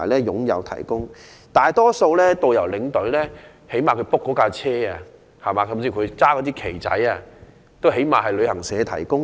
就大多數的導遊和領隊而言，他們所預約的旅遊巴士，甚至手持的旗幟也是由旅行社提供的。